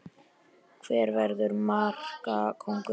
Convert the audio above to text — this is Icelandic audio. Hver verður markakóngur?